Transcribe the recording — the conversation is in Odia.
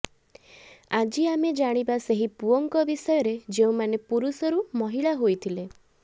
ଆଜି ଆମେ ଜାଣିବା ସେହି ପୁଅଙ୍କ ବିଷୟରେ ଯେଉଁମାନେ ପୁରୁଷରୁ ମହିଳା ହୋଇଥିଲେ